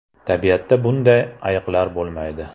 Tabiatda bunday ayiqlar bo‘lmaydi.